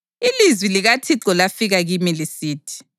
Ilizwi likaThixo lafika kimi lisithi: